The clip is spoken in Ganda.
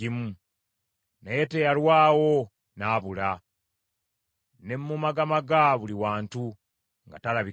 naye teyalwawo n’abula, ne mmumagamaga buli wantu, nga talabikako.